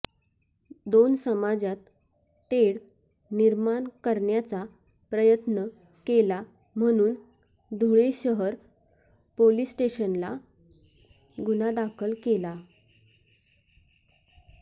दोन समाजात तेढ निर्माण करण्याचा प्रयत्न केला म्हणून धुळे शहर पोलीस स्टेशनला गुन्हा दाखल केला